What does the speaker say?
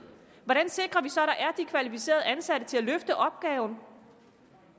hvordan sikrer vi så at der er de kvalificerede ansatte til at løfte opgaven